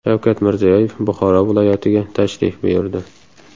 Shavkat Mirziyoyev Buxoro viloyatiga tashrif buyurdi.